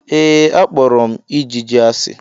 Ee, akpọrọ m ijiji asi.